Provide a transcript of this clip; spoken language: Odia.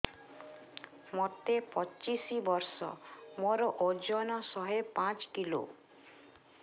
ମୋତେ ପଚିଶି ବର୍ଷ ମୋର ଓଜନ ଶହେ ପାଞ୍ଚ କିଲୋ